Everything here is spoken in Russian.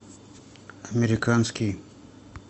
американский